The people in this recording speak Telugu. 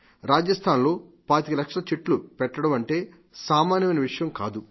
రాజస్థాన్ లో పాతిక లక్షల చెట్లు పెట్టడం అంటే సామాన్యమైన విషయం కాదు